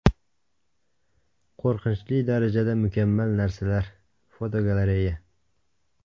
Qo‘rqinchli darajada mukammal narsalar (fotogalereya).